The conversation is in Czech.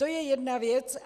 To je jedna věc.